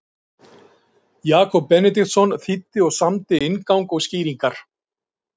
Jakob Benediktsson þýddi og samdi inngang og skýringar.